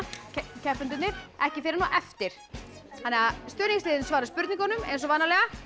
keppendurnir ekki fyrr en á eftir stuðningsliðin svara spurningunum eins og vanalega